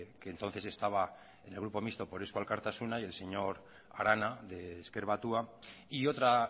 que entonces estaba en el grupo mixto por eusko alkartasuna y el señor arana de ezker batua y otra